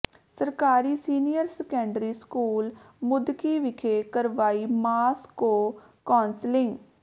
ਸਰਕਾਰੀ senior secondary school Muddki ਵਿਖੇ ਕਰਵਾਈ ਮਾਸ ਕੌ ਾਸਿਲੰਗ